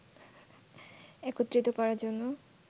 একত্রিত করার জন্য